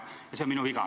See on minu viga.